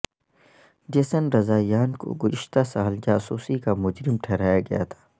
Jason Rezaian کو گذشتہ سال جاسوسی کا مجرم ٹھہرایا گیا تھا